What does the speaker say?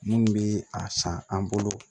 Minnu bɛ a san an bolo